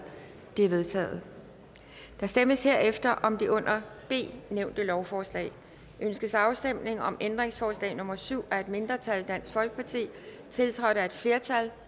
de er vedtaget der stemmes herefter om det under b nævnte lovforslag ønskes afstemning om ændringsforslag nummer syv af et mindretal tiltrådt af et flertal